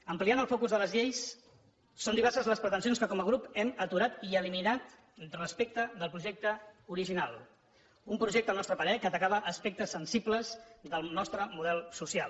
ampliant el focus de les lleis són diverses les pretensions que com a grup hem aturat i eliminat respecte del projecte original un projecte al nostre parer que atacava aspectes sensibles del nostre model social